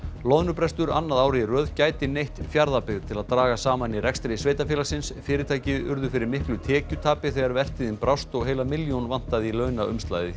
loðnubrestur annað árið í röð gæti neytt Fjarðabyggð til að draga saman í rekstri sveitarfélagsins fyrirtæki urðu fyrir miklu tekjutapi þegar vertíðin brást og heila milljón vantaði í launaumslagið hjá